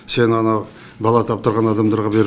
сен анау бала таптырған адамдарға беріп